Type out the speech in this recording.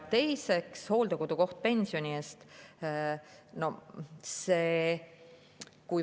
Teiseks, hooldekodukoht pensioni eest.